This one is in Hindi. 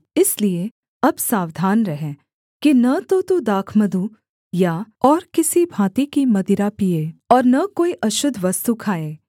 इसलिए अब सावधान रह कि न तो तू दाखमधु या और किसी भाँति की मदिरा पीए और न कोई अशुद्ध वस्तु खाए